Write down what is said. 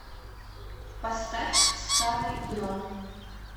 поставь старый гном